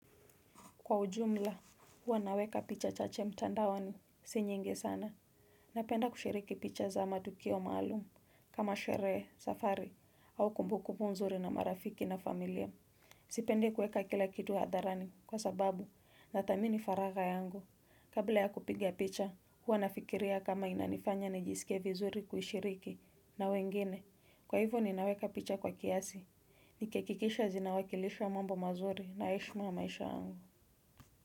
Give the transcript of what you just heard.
Kwa ujumla, huwa naweka picha chache mtandaoni si nyingi sana. Napenda kushiriki picha za matukio maalumu. Kama sherehe, safari, au kumbukumbu nzuri na marafiki na familia. Sipendi kuweka kila kitu hadharani kwa sababu, nathamini faragha yangu. Kabla ya kupiga picha, huwa nafikiria kama inanifanya nijisike vizuri kuishiriki na wengine. Kwa hivyo ninaweka picha kwa kiasi. Nikihakikisha zinawakilisha mambo mazuri na heshima ya maisha yangu.